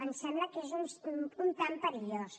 em sembla que és una mica perillós